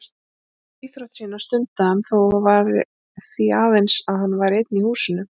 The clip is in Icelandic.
Þessa íþrótt sína stundaði hann þó því aðeins að hann væri einn í húsinu.